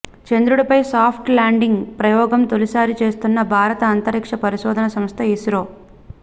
చంద్రుడిపై soft landing ప్రయోగం తొలిసారి చేస్తున్న భారత అంతరిక్ష పరిశోధన సంస్థ ఇస్రో